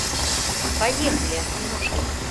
поехали осьминожки